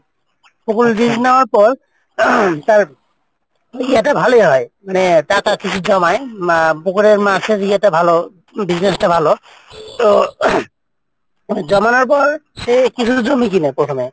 পুকুর lease নেওয়ার পর তার ইয়ে টা ভালোই হয় মানে টাকা কিছু জমায় আহ পুকুরের মাছের ইয়েটা ভালো business টা ভালো তো জমানোর পর সে কিছু জমি কিনে প্রথমে।